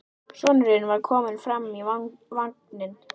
Sonurinn var kominn framar í vagninn.